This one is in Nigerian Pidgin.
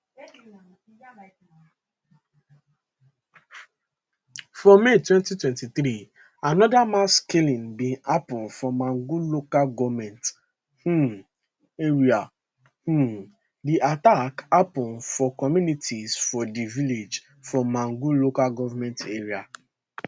for may 2023 anoda mass killing bin happun for mangu local goment um area um di attack happun for communities for di villages for mangu lga